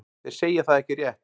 Þeir segja það ekki rétt.